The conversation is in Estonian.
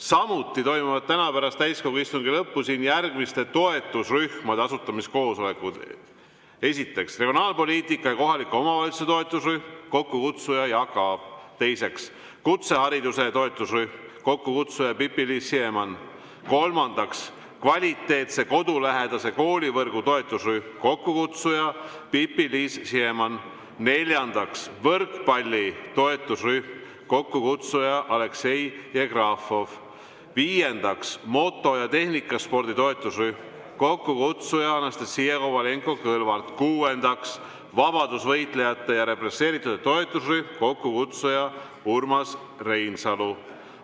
Samuti toimuvad täna pärast täiskogu istungi lõppu siin järgmiste toetusrühmade asutamiskoosolekud: esiteks, kohalike omavalitsuste ja regionaalpoliitika toetusrühm, kokkukutsuja Jaak Aab; teiseks, kutsehariduse toetusrühm, kokkukutsuja Pipi-Liis Siemann; kolmandaks, kvaliteetse kodulähedase koolivõrgu toetusrühm, kokkukutsuja Pipi-Liis Siemann; neljandaks, võrkpalli toetusrühm, kokkukutsuja Aleksei Jevgrafov; viiendaks, moto‑ ja tehnikaspordi toetusrühm, kokkukutsuja Anastassia Kovalenko-Kõlvart; kuuendaks, represseeritute ja vabadusvõitluse toetusrühm, kokkukutsuja Urmas Reinsalu.